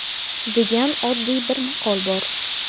degan oddiy bir maqol bor.